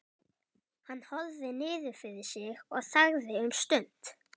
Hann horfði niður fyrir sig og þagði um stund.